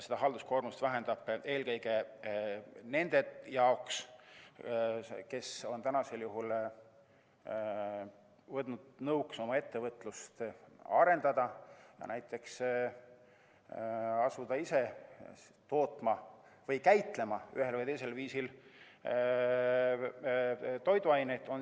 Ta vähendab seda eelkõige nende jaoks, kes on võtnud nõuks ettevõtlust arendada ja näiteks asuda ise toiduained tootma või ühel või teisel viisil käitlema.